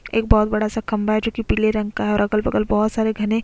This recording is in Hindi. एक बोहोत बड़ा -सा खम्बा है जोकि पीले रंग का है और अगल- बगल बोहोत सारे घने --